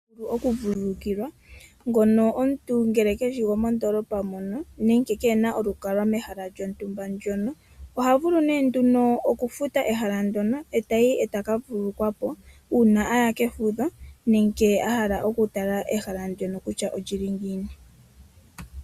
Okuvululukilwa ngono omuntu ngele keshi gomondoolopa mono nenge keena olukalwa mehala lyontumba ndyono. oha vulu nee nduno oku futa ehala ndyono e tayi e taka vululukwapo uuna aya kefudho nenge a hala oku tala ehala ndyono kutya olili ngiini.